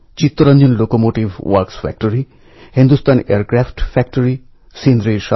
ভারূড বা আভংগএর মতো শ্লোকে আমরা ওঁদের কাছ থেকে সদ্ভাব প্রেম আর ভ্রাতৃত্ববোধের উপদেশ পাই